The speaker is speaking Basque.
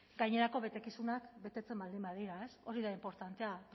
gainerako betekizunak betetzen baldin badira ez hori da inportantea